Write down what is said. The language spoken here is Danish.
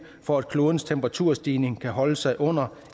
for at klodens temperaturstigning kan holde sig under